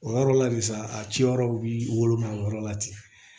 O yɔrɔ la de sa a ciyɔrɔ b'i woloma o yɔrɔ la ten